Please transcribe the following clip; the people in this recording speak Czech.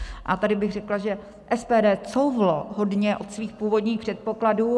A tady bych řekla, že SPD couvlo hodně od svých původních předpokladů.